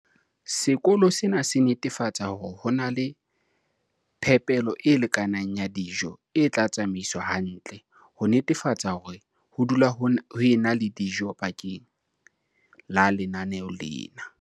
Sekolo sena se netefatsa hore ho na le phepelo e lekaneng ya dijo e tla tsamaiswa hantle, ho netefatsa hore ho dula ho ena le dijo bakeng la lenaneo lena.